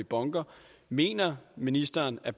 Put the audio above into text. bunker mener ministeren at